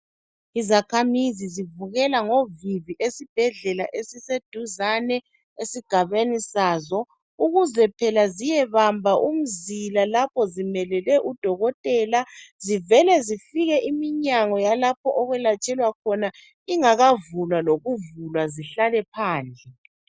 Izakhamizi zivukela ngovivi esibhedlela esise duzane esigabeni sazo, ukuze phela ziyebamba umzila lapho zimelele udokotela. Zivele zifike iminyango yalapho okwelatshelwa khona ingakavulwa lokuvulwa zihlale phandle.